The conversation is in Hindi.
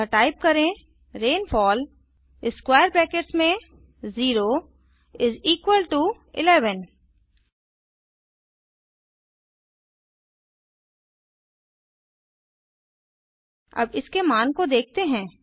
अतः टाइप करें रेनफॉल 0 11 अब इसके मान को देखते हैं